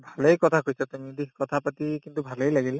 ভালেই কথা কৈছা তুমি কথাপাতি কিন্তু ভালেই লাগিলে